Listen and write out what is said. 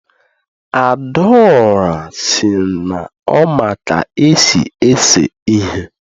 adaora si na o ma ka esi ese ihe